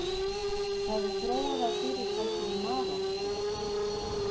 Það er þróað af fyrirtækinu Marorku.